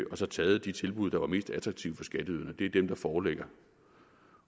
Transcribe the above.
og så taget de tilbud der var mest attraktive for skatteyderne det er dem der foreligger